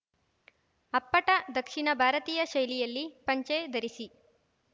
ಅಪ್ಪಟ ದಕ್ಷಿಣ ಭಾರತೀಯ ಶೈಲಿಯಲ್ಲಿ ಪಂಚೆ ಧರಿಸಿ